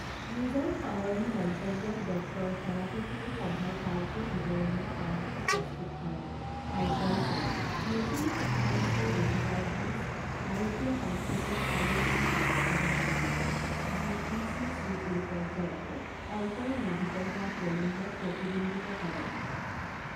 নিজৰ সামৰণি মন্তব্যত ডক্টৰ সেনাপতিয়ে সভাৰ কাৰ্য বিৱৰণিৰ সাৰাংশ প্ৰস্তুত কৰে আৰু কয় যে নতুন শিক্ষা নীতিয়ে দুহেজাৰ বিছ ভাৰতীয় সংস্কৃতিক সমৃদ্ধ কৰাত সহায় কৰিব যি ই চি চি ইৰ পৰ্যায়তে অন্তৰ্নিহিত হোৱা প্ৰমূল্যক প্ৰতিবিম্বিত কৰে।